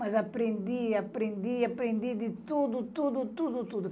Mas aprendi, aprendi, aprendi de tudo, tudo, tudo, tudo.